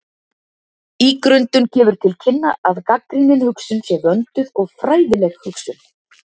Ígrundun gefur til kynna að gagnrýnin hugsun sé vönduð og fræðileg hugsun.